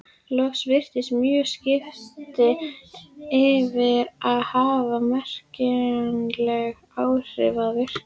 Loks virðast mörg skipti ekki hafa merkjanleg áhrif á virknina.